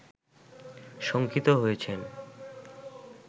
শঙ্কিত হয়েছেন